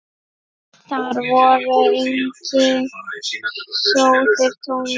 Þar voru engir sjóðir tómir.